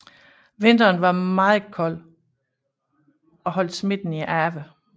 Vinteren var meget kold og holdt smitten i ave